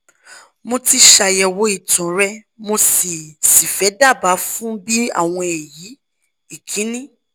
mo ti ṣàyẹ̀wò ìtàn rẹ mo sì sì fẹ́ daàbá fun bi awon eyi: ikini